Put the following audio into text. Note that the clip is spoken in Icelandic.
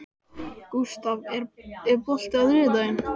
Gústaf, er bolti á þriðjudaginn?